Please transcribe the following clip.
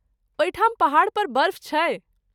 ओहिठाम पहाड़ पर बर्फ छै?